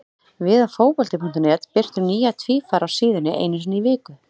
Við á Fótbolti.net birtum nýja tvífara á síðunni einu sinni í viku.